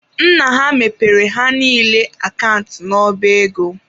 Nna ha mepere ha niile akant n'ọba ego.